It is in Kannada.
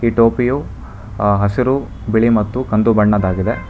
ಟೋಪಿಯು ಹಸಿರು ಬಿಳಿ ಮತ್ತು ಕಂದು ಬಣ್ಣದಾಗಿದೆ.